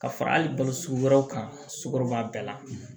Ka fara hali balo sugu wɛrɛw kan sukɔrɔba bɛɛ la